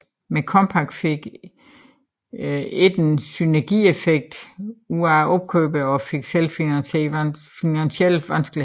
Men Compaq fik ikke en synergieffekt ud af opkøbene og fik selv finansielle vanskeligheder